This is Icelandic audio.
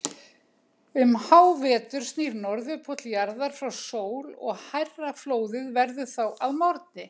Um hávetur snýr Norðurpóll jarðar frá sól og hærra flóðið verður þá að morgni.